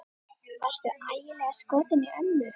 Varstu ægilega skotinn í ömmu?